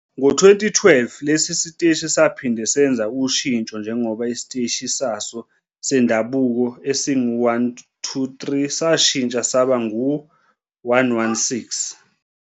Ngo-2012, lesi siteshi saphinde senza ushintsho njengoba isiteshi saso sendabuko esingu-123 sashintsha saba ngu-116.